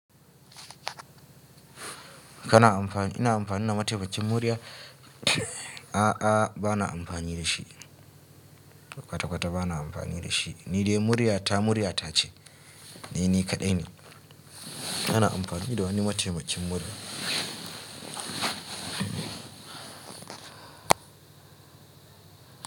Kana amfani, ina amfani da mataimakin murya, a'a ba na amfani da shi. Kwata kwata ba na amfani da shi. Ni dai murya ta murya tace. E ni kaɗai ne. Ba na amfani da wani mataimakin murya.